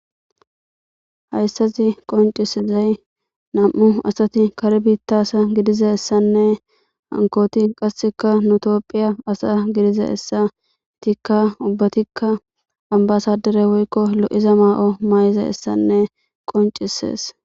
Hayssazi qoncisizay nam'u asati kar biittasa gidiza essanne hankooti qasseka nutopphiya asa gidiza hessa itikka ubbatikka ambasadere woykko lo'iza maa'o maay'iza essanne qoncisees.